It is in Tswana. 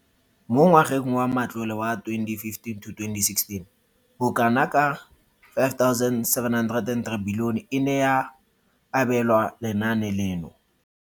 Mo ngwageng wa matlole wa 2015,16, bokanaka R5 703 bilione e ne ya abelwa lenaane leno.